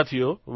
સાથીઓ